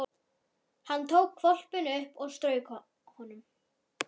Hann tók hvolpinn upp og strauk honum.